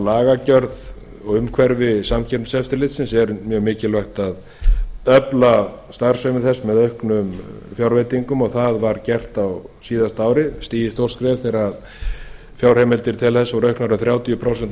lagagjörð og umhverfi samkeppniseftirlitsins er mjög mikilvægt að efla starfsemi þess með auknum fjárveitingum og það var gert á síðasta ári stigið stórt skref þegar fjárheimildir til þess voru auknar um þrjátíu prósent á